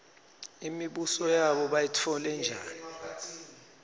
imibuso yabo bayitfole njani